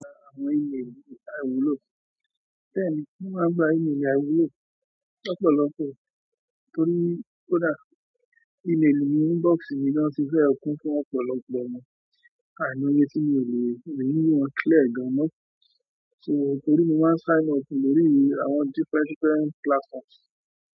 Mo gba àwọn ímeelì àìwúlò, bẹ́ẹ̀ ni, mo máa ń gba ímelì àwúlò lọ́pọ̀lọpọ̀ torí kódà ímeelì inú inbox mi gan-an fẹ́ẹ̀ kún fún ọ̀pọ̀lọpọ̀ ọ̀nà àìmọye tí mi ò lè kì í ní wọn clear gan-an mọ́. So nítorí mó máa ń sign up lórí àwọn different different platforms.